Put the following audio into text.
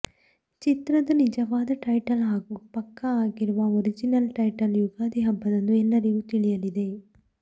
ಚಿತ್ರದ ನಿಜವಾದ ಟೈಟಲ್ ಹಾಗೂ ಪಕ್ಕಾ ಆಗಿರುವ ಒರಿಜಿನಲ್ ಟೈಟಲ್ ಯುಗಾದಿ ಹಬ್ಬದಂದು ಎಲ್ಲರಿಗೂ ತಿಳಿಯಲಿದೆ